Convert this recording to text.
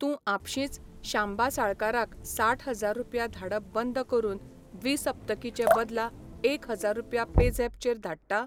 तूं आपशींच शांबा साळकाराक साठ हजार रुपया धाडप बंद करून द्विसप्तकी चे बदला एक हजार रुपया पेझॅप चेर धाडटा?